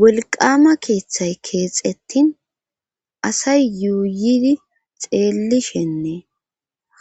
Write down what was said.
Wolqama keeththay keexettin asay yuuyidi xeellishenne